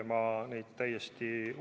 Ma usaldan neid täiesti.